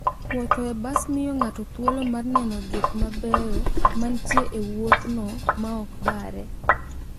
Wuoth e bas miyo ng'ato thuolo mar neno gik mabeyo mantie e wuodhno maok obare.